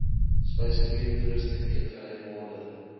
spysenierstoerusting eetgery borde